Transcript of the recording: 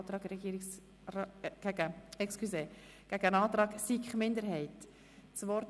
Das Wort hat der Kommissionspräsident.